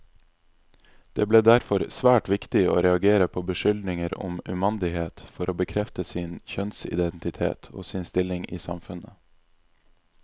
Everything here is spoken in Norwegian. Det ble derfor svært viktig å reagere på beskyldninger om umandighet for å bekrefte sin kjønnsidentitet, og sin stilling i samfunnet.